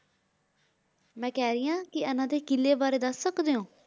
ਮੈਂ ਕਹ ਰੀ ਆਂ ਕੇ ਇਨਾਂ ਦੇ ਕਿਲੇ ਬਾਰੇ ਦਸ ਸਕਦੇ ਊ